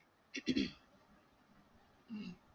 हम्म